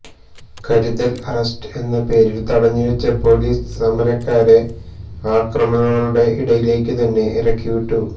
കരുതല് arrest എന്നപേരില് തടഞ്ഞു വച്ച പോലീസ് സമരക്കാരെ അക്രമികളുടെ ഇടയിലേക്കു തന്നെ ഇറക്കിവിട്ടു